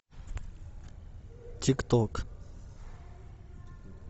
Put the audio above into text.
тик ток